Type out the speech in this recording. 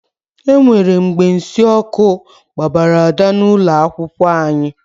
E nwere mgbe nsị ọkụ kpara Ada n'ụlọ akwụkwọ anyị.